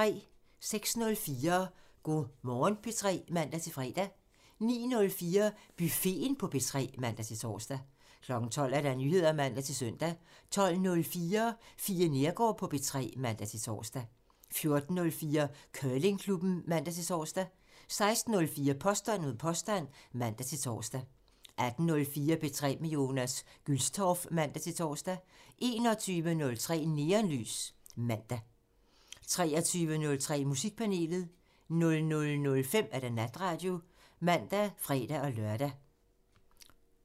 06:04: Go' Morgen P3 (man-fre) 09:04: Buffeten på P3 (man-tor) 12:00: Nyheder (man-søn) 12:04: Fie Neergaard på P3 (man-tor) 14:04: Curlingklubben (man-tor) 16:04: Påstand mod påstand (man-tor) 18:04: P3 med Jonas Gülstorff (man-tor) 21:03: Neonlys (man) 23:03: Musikpanelet (man) 00:05: Natradio (man og fre-lør)